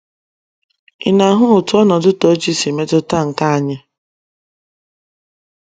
Ị̀ na - ahụ otú ọnọdụ Tochi si metụta nke anyị?